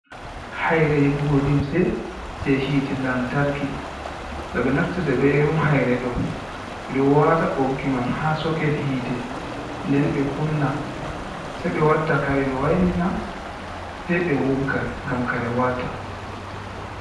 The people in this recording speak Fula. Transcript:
Hayre yiggugo limse jey yiite lantarki ,no ɓe naftirta be irin hayre ɗo .Ɓe ɗo waata ɓoggi man, haa soket yiite. Nden ɓe kunna sey ɓe wadda kare, ɓe wailina sey ɓe wogga ngam kare walta.